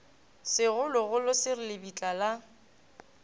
segologolo se re lebitla la